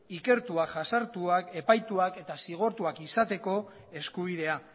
ikertuak jasartuak epaituak eta zigortuak izateko eskubidea